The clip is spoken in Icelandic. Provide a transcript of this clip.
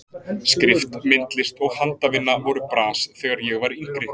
Skrift, myndlist og handavinna voru bras þegar ég var yngri.